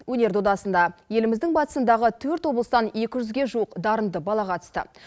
өнер додасында еліміздің батысындағы төрт облыстан екі жүзге жуық дарынды бала қатысты